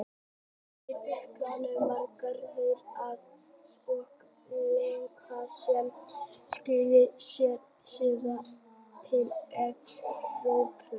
Þeir uppgötvuðu margt og þróuðu stærðfræði og læknisfræði sem skilaði sér síðar til Evrópu.